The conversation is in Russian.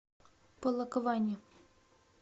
полокване